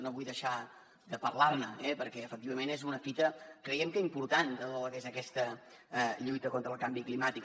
no vull deixar de parlar ne eh perquè efectivament és una fita creiem que important de tot el que és aquesta lluita contra el canvi climàtic